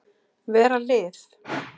Vera lið.